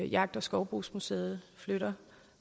jagt og skovbrugsmuseet flytter